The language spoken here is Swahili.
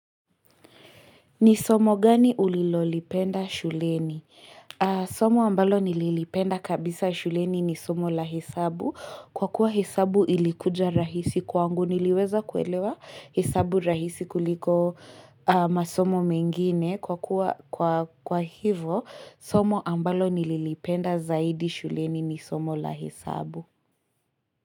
Ni somo gani ulilolipenda shuleni? Somo ambalo nililipenda kabisa shuleni ni somo la hesabu. Kwa kuwa hesabu ilikuja rahisi kwangu niliweza kuelewa hesabu rahisi kuliko masomo mengine. Kwa kuwa kwa hivo, somo ambalo nililipenda zaidi shuleni ni somo la hesabu.